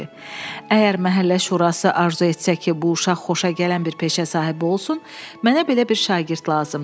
Əgər məhəllə şurası arzu etsə ki, bu uşaq xoşagələn bir peşə sahibi olsun, mənə belə bir şagird lazımdır.